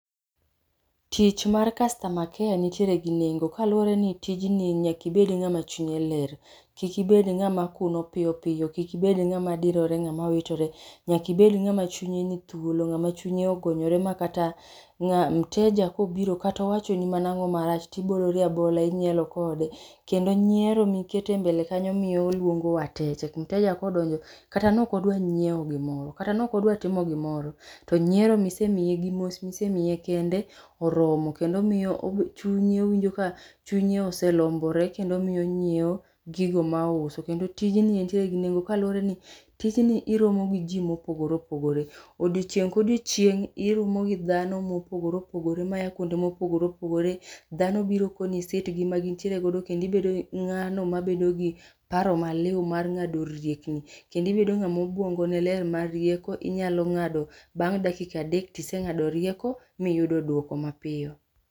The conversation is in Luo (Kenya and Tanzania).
Tich mar customer care nitiere gi nengo kaluwre ni tijni nyakibed ng'ama chunye ler kik ibed ng'ama kun piyo piyo, kik ibed ng'ama dirore ng'ama witore. Nyakibed ng'ama chunye ni thuolo ng'ama chunye ogonyore ma kata mteja kobiro katowachoni mana ang'o marach tibolori abola inyiero kode. Kendo nyiero mikete mbele kanyo miyo luongo wateche, mteja kodonjo kata nokodwa nyieo gimoro kata nokodwa timo gimoro to nyiero misemiye gi mos misemiye kende oromo kendo miyo owinjo ka chunye oselombore kendo miyo onyieo gigo maouso. Kende tijni entiere gi nengo kaluwore ni tijni iromo gi ji mopogore opogore. Odiechieng' ka odiechieng' iromo gi dhano mopogore opogore maya kuonde mopogore opogore dhano biro koni sitgi magintiere godo kendibedo ng'ano mabedo gi paro maliw mar ng'ado riekni kendibedo ng'ama obuongone ler mariek inyalo ng'ado bang' dakika adek tiseng'ado rieko miyudo duoko mapiyo.